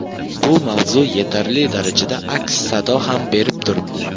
Bu mavzu yetarli darajada aks-sado ham berib turibdi.